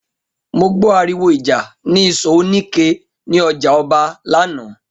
Mo gbó̩ àrìwò ìjà ní ìsò̩ oníke ní o̩jà O̩ba lánàá